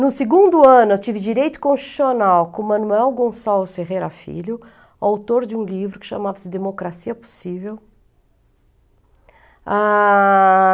No segundo ano, eu tive direito constitucional com o Manuel Gonçalves Ferreira Filho, autor de um livro que chamava-se Democracia Possível.